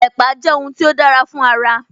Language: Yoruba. Ẹ̀pà jẹ́ ohun tí ó dára fún ara